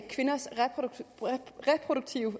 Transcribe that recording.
kvinders reproduktive